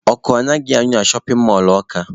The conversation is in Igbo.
Ọkụ anaghịkwa anyụ anyụ na shọpin mọlụ Ọka.